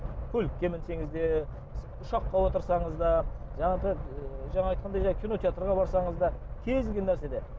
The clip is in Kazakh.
көлікке мінсеңіз де ұшаққа отырсаңыз да жаңа айтқандай жаңағы кинотеатрға барсаңыз да кез келген нәрседе